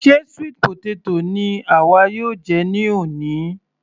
Ṣe sweet potato ni àwa yóò jẹ ní òní?